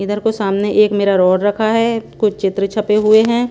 इधर को सामने एक मेरा रोड रखा है कुछ चित्र छपे हुए हैं।